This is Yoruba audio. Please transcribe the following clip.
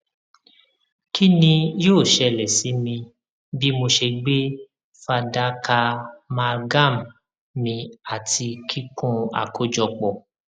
kini yoo ṣẹlẹ si mi bi mo ṣe gbe fadaka amalgam mì ati kikun akojọpọ